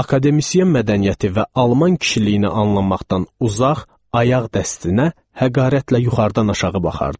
Akademisyen mədəniyyəti və alman kişiliyini anlamaqdan uzaq ayaq dəstinə həqarətlə yuxarıdan aşağı baxardılar.